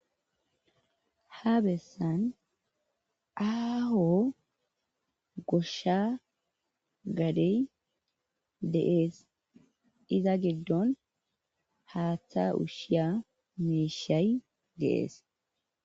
Ha bessan aaho goshsha gadey deees iza giddon haaththa ushshiya meeshay deees.